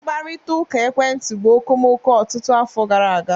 Mkparịta ụka ekwentị bụ okomoko ọtụtụ afọ gara aga